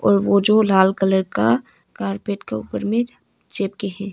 और वो जो लाल कलर का कारपेट के ऊपर में चिपके हैं।